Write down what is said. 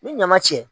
Ni ɲama cɛ